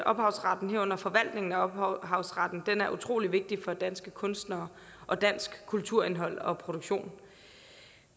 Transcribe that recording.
ophavsretten herunder forvaltningen af ophavsretten er utrolig vigtig for danske kunstnere og dansk kulturindhold og produktion